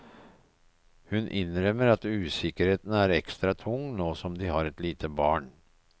Hun innrømmer at usikkerheten er ekstra tung nå som de har et lite barn.